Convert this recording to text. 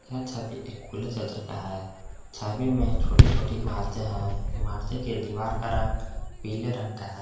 यह छवि एक खुले क्षेत्र का है छवि में छोटी-छोटी इमारतें हैं इमारतें के दीवार का रंग पीले रंग का है।